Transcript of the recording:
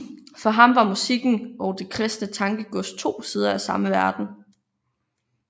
For ham var musikken og det kristne tankegods to sider af samme verden